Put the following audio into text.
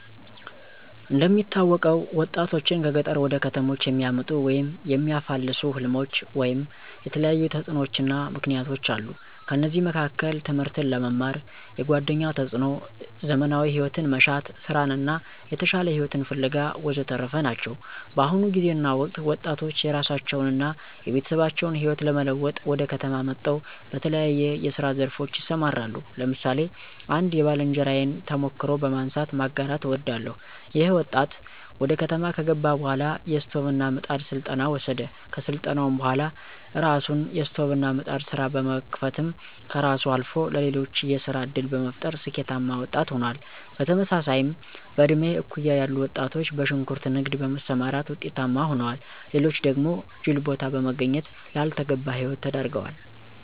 እንደሚታወቀው ወጣቶችን ከገጠር ወደ ከተሞች የሚያመጡ ወይም የሚያፋልሱ ሕልሞች ወይም የተለያዩ ተጽዕኖዎችና ምክነያቶች አሉ። ከነዚህም መካከል ትምህርትን ለመማር፣ የጓደኛ ተፅዕኖ፣ ዘመናዊ ሂወትን መሻት፣ ሥራን እና የተሻለ ሂወትን ፋለጋ ወዘተረፈ ናቸው። በአሁኑ ጊዜና ወቅት ወጣቶች የራሳቸውን አና የቤተሰባችን ህይወት ለመለወጥ ወደ ከተማ መጠው በተለያየ የስራ ዘርፎች ይሰማራሉ። ለምሳሌ አንድ የባልንጀራየን ተሞክሮ በማንሳት ማጋራት አወዳለሁ። ይኸ ወጣት ወደ ከተማ ከገባ በኋላ የስቶቭና ምጣድ ስልጠና ወሰደ። ከስልጠናውም በኋላ የራሱን የስቶቭና ምጣድ ስራ በመክፈትም ከራሱ አልፎ ለሌሎች የስራ ዕድል በመፍጠር ስኬታማ ወጣት ሆኗል። በተመሳሳይም በእድሜ እኩያ ያሉ ወጣቶች በሽንኩርት ንግድ በመሰማራት ውጤታማ ሆነዋል። ሌሎች ደግሞ ጅል ቦታ በመገኘት ላልተገባ ሂወት ተዳርገዋል።